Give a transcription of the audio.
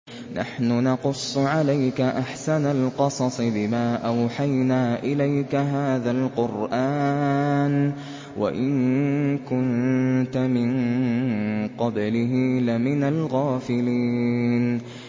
نَحْنُ نَقُصُّ عَلَيْكَ أَحْسَنَ الْقَصَصِ بِمَا أَوْحَيْنَا إِلَيْكَ هَٰذَا الْقُرْآنَ وَإِن كُنتَ مِن قَبْلِهِ لَمِنَ الْغَافِلِينَ